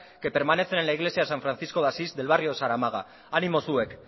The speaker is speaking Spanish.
que permanecen en la iglesia san francisco de asís del barrio zaramaga animo zuek